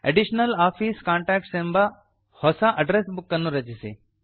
additional office contacts ಎನ್ನುವ ಹೊಸ address book ಅನ್ನು ರಚಿಸಿ